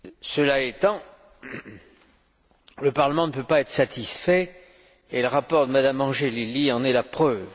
Cela étant, le Parlement ne peut pas être satisfait, et le rapport de Mme Angelilli en est la preuve.